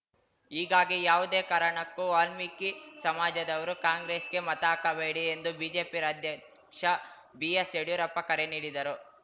ಹೀಗಾಗಿ ಯಾವುದೇ ಕಾರಣಕ್ಕೂ ವಾಲ್ಮೀಕಿ ಸಮಾಜದವರು ಕಾಂಗ್ರೆಸ್‌ಗೆ ಮತ ಹಾಕಬೇಡಿ ಎಂದು ಬಿಜೆಪಿ ರಾಜ್ಯಾಧ್ಯಕ್ಷ ಬಿಎಸ್‌ ಯಡಿಯೂರಪ್ಪ ಕರೆ ನೀಡಿದರು